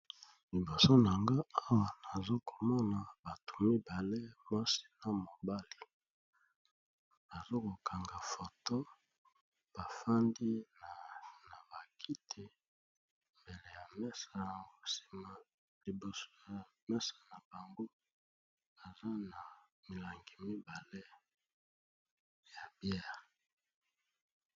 Liboso na nga awa nazakomona bato mibale mwasi na mobali azakokanga foto bafandi na ba kiti pene ya mesa nsima liboso ya mesa na bango eza na milangi mibale ya biere